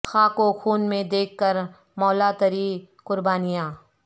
خاک و خون میں دیکھ کر مولا تری قربانیاں